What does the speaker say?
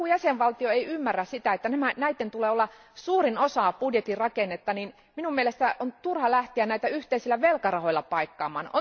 Jos joku jäsenvaltio ei ymmärrä sitä, että näiden tulee olla suurin osa budjetin rakennetta, niin minun mielestäni on turha lähteä näitä yhteisillä velkarahoilla paikkaamaan.